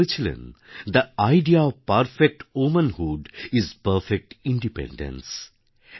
উনি বলেছিলেন the idea of perfect womanhood is perfect independence